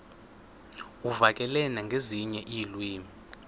uvakale nangezinye iilwimi